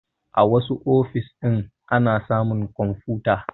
A wassu ofis ɗin ana samun kwamfuta